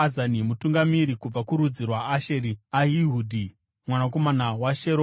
Mutungamiri kubva kurudzi rwaAsheri, Ahihudhi mwanakomana waSheromi;